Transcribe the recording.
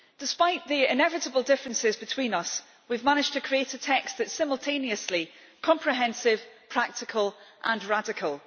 Despite the inevitable differences between us, we have managed to create a text that is simultaneously comprehensive, practical and radical.